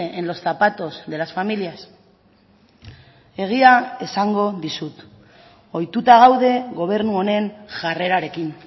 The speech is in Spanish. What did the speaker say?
en los zapatos de las familias egia esango dizut ohituta gaude gobernu honen jarrerarekin